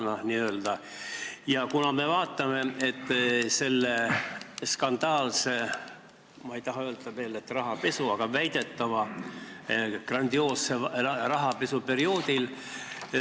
Nagu sa ütlesid, esinema on nõus tulema Andrus Ansip, kes oli peaminister selle skandaalse ..., ma ei taha veel öelda, et rahapesu perioodil, ütlen, et väidetava grandioosse rahapesu perioodil.